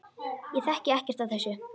Ég þekki ekkert af þessu.